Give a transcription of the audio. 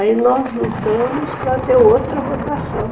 Aí nós lutamos para ter outra votação.